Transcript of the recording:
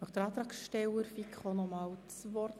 Wünscht der Antragsteller der FiKo noch einmal das Wort?